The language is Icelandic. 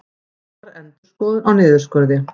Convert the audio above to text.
Boðar endurskoðun á niðurskurði